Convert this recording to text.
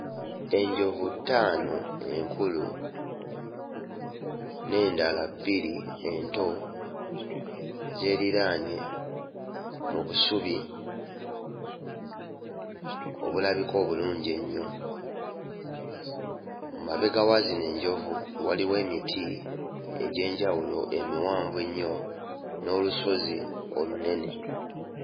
Enjovu ttaano enkulu n'endala bbiri ento zeeriraanye mu busubi obulabika obulungi ennyo. Mu mabega wa zino ensolo waliwo emiti egy'enjawulo emiwanvu ennyo n'olusozi olunene.